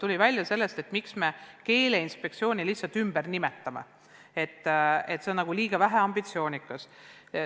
On väidetud, et põhjus, miks me Keeleinspektsiooni ümber nimetame, et selle nimetuse liiga vähene ambitsioonikus.